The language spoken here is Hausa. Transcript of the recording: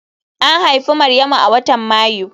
An haifi Maryamu a watan Mayu